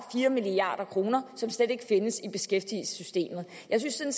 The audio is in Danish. fire milliard kr som slet ikke findes i beskæftigelsessystemet jeg synes